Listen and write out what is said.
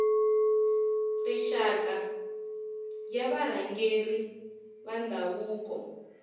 rixaka ya varhangeri va ndhavuko